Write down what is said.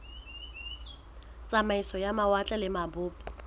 tsamaiso ya mawatle le mabopo